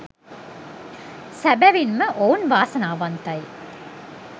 සැබැවින් ම ඔවුන් වාසනාවන්තයි